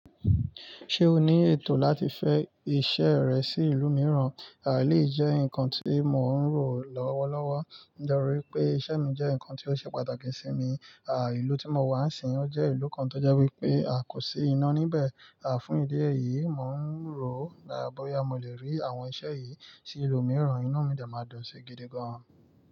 Ṣé o ní ètò láti fẹ́ iṣẹ́ rẹ sí ìlú mìíràn? Éléyì jẹ́ ǹkan tí mò ń rò lọ́wọ́lọ́wọ́. Nitori i pé iṣẹ́ mi jẹ́ ǹkan tí ó ṣe pàtàkì sí mi. Ìlú tí mo wà sín, ó jẹ́ ìlú kan tó jẹ́ wípé kò sí iná níbẹ̀. Fún ìdí èyí, mò ń rò bóyá mò lè rí àwọn iṣẹ́ yìí sí ìlú mìíràn. Inú mi dé máa dun sí gidi gan.